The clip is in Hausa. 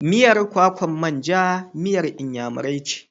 Miyar kwakan manja miyar Inyamurai ce.